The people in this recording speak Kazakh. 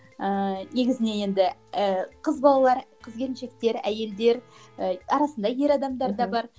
ііі негізіне енді ііі қыз балалар қыз келіншектер әйелдер і арасында ер адамдар да бар